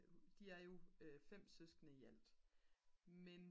de er jo 5 søskende i alt men